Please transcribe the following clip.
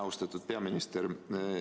Austatud peaminister!